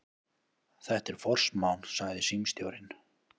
Þetta er forsmán, sagði símstjórinn.